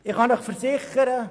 Ich kann Ihnen versichern: